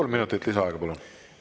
Kolm minutit lisaaega, palun!